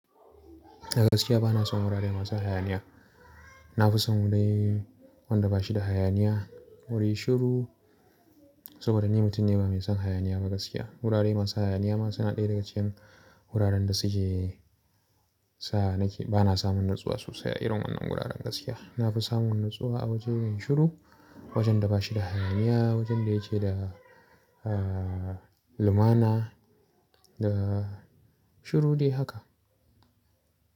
A gaskiya bana son wuraren masu hayaniya. Na fi son wurin wanda ba shi da hayaniya, wuri shiru saboda ni mutum ne ba mai son hayaniya ba gaskiya. Wuraren masu hayaniya ma suna ɗaya daga cikin wuraren da suke sa nake bana samun natsuwa sosai irin wannan wuraren gaskiya. Na fi samun natsuwa a wajajen shiru, wajen da ba shi da hayaniya, wajen da yake da, eh, lumana da shiru dai haka.